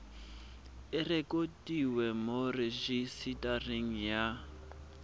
e rekotiwe mo rejisetareng ya